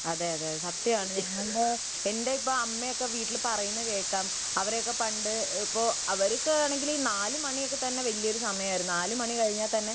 അതെയതെ സത്യാണ് എന്റെയൊക്കെ അമ്മയൊക്കെ വീട്ടിൽ പറയുന്നത് കേൾക്കാം അവരെയൊക്കെ പണ്ട് ;അവർക്കാണെങ്കിൽ നാലു മണിയൊക്കെ വലിയ സമയമായിരുന്നു . നാലു മാണി കഴിഞ്ഞാൽ